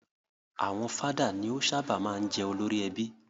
Àwọn father ni ó sábà máa ń jẹ́ olórí ẹbí.